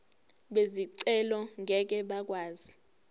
bezicelo ngeke bakwazi